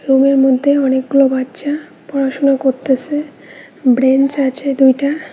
রুমের মধ্যে অনেকগুলা বাচ্চা পড়াশুনা করতাসে ব্রেঞ্চ আছে দুইটা।